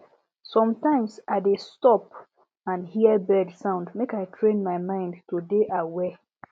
sometimes i dey stop and hear bird sound make i train my mind to dey aware